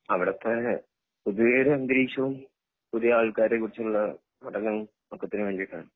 അവിടത്തെ പൊതുവെ ഒരു അന്തരീക്ഷവും പുതിയ ആൾക്കാരെ കുറിച്ചുള്ള പഠനം ഒക്കത്തിനും വേണ്ടീട്ടാണ്